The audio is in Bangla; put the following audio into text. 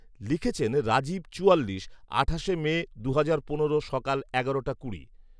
লিখেছেন রাজীব চুয়াল্লিশ , আঠাশে মে, দুহাজার পনেরো সকাল এগারোটা কুড়ি